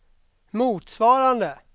motsvarande